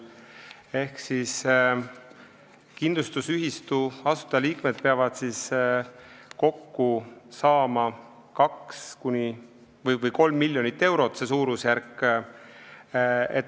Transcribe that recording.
Ehk kindlustusühistu asutajaliikmed peavad kokku saama 3 miljonit eurot, see on suurusjärk.